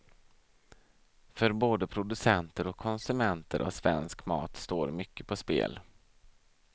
För både producenter och konsumenter av svensk mat står mycket på spel.